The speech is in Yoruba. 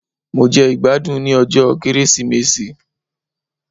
Mo jẹ ìgbádùn ní ọjọ́ ọdún Kérésìmesì